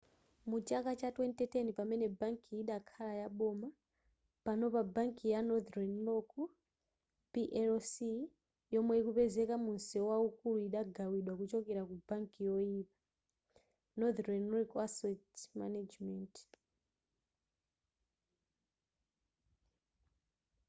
mu chaka cha 2010 pamene bankiyi idakhala yaboma panopa bankiyi ya northern rock plc yomwe ikupezeka mu mseu waukulu idagawidwa kuchokera ku ‘banki yoyipa’ northern rock asset management